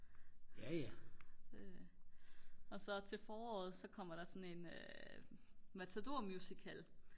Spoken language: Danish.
og så til foråret så kommer der sådan en matador musical